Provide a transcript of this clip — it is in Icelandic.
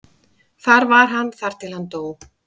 Þar var hann þar til hann dó.